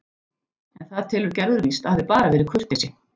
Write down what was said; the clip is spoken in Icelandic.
En það telur Gerður víst að hafi bara verið kurteisi.